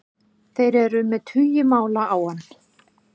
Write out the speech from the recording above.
Þeir eru með tugi mála á hann